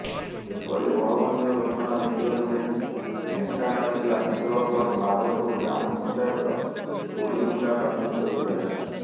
ଏପରି ଅଭାବନୀୟ ଘଟଣା ଦେଖିବାକୁ ମିଳିଛି ଢେଙ୍କାନାଳ ଜିଲ୍ଲା ହିନ୍ଦୋଳ ବ୍ଲକ ମାଧପୁର ଗ୍ରାମପଂଚାୟତର କୋଡିଭଂଗା ପ୍ରାଥମିକ ବିଦ୍ୟାଳୟରେ